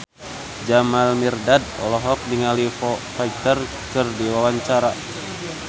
Jamal Mirdad olohok ningali Foo Fighter keur diwawancara